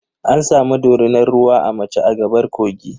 An samu dorinar ruwa a mace a gaɓar kogi.